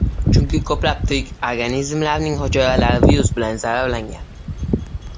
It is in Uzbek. Chunki ko‘plab tirik organizmlarning hujayralari virus bilan zararlangan.